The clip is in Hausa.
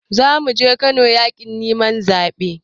Zamuje kano yakin neman zabe.